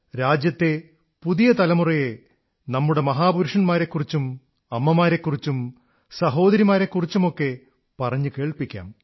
രാജ്യത്തെ പുതിയ തലമുറയെ നമ്മുടെ മഹാപുരുഷന്മാരെക്കുറിച്ചും അമ്മമാരെക്കുറിച്ചും സഹോദരിമാരെക്കുറിച്ചുമൊക്കെ പറഞ്ഞു കേൾപ്പിക്കാം